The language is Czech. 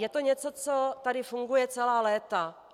Je to něco, co tady funguje celá léta.